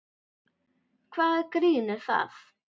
Hvaða grín er það?